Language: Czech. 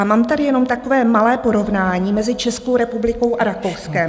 A mám tady jenom takové malé porovnání mezi Českou republikou a Rakouskem.